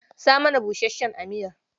Sa mana busasshen a miyar